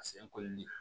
A sen kolili